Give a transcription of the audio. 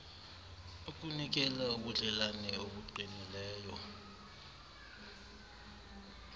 ukunikela ubudlelane obuqinileyo